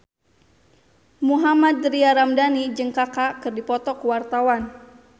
Mohammad Tria Ramadhani jeung Kaka keur dipoto ku wartawan